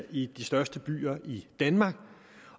i de største byer i danmark